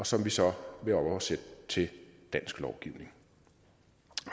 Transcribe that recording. som vi så vil oversætte til dansk lovgivning